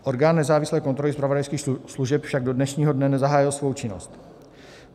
Orgán nezávislé kontroly zpravodajských služeb však do dnešního dne nezahájil svou činnost.